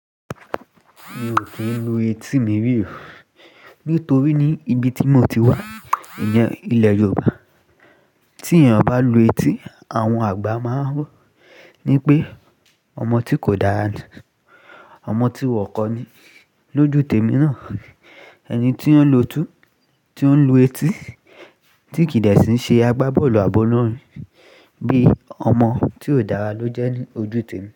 Mi ò kí ń lu etí mi rí. Nítorí ní ibi tí mo ti wá, ìyẹn ilẹ̀ Yorùbá, tí èeyàn bá lu etí, àwọn àgbà máa ń ní pé ọmọ tí kò dára ni, ọmọ tí wọn kò ní lóju témi náà. Ẹni tí ọ́ ń lu etí tí kì í dẹ̀ síi ṣe agbábọ́ọ̀lù àbọ́ olọ́rin, bíi ọmọ tí ò dára ló jẹ́ ojú témi.